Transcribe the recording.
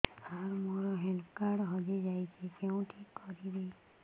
ସାର ମୋର health card ହଜି ଯାଇଛି କେଉଁଠି କରିବି